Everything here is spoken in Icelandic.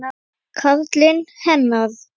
Karlinn hennar.